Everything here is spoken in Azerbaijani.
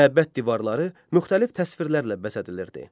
Məbəd divarları müxtəlif təsvirlərlə bəzədilirdi.